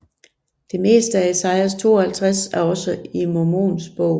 Det meste af Esajas 52 er også i Mormons Bog